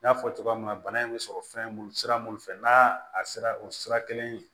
N y'a fɔ cogoya min na bana in bɛ sɔrɔ fɛn mun sira mun fɛ n'a a sera o sira kelen